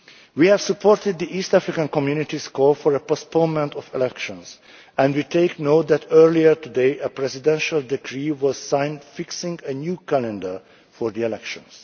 We have supported the East African Community's call for a postponement of the elections and we take note that earlier today a presidential decree was signed fixing a new calendar for the elections.